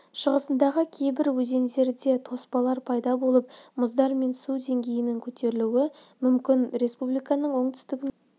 шығысындағы кейбір өзендерде тоспалар пайда болып мұздар мен су деңгейінің көтерілуі мүмкін республиканың оңтүстігі мен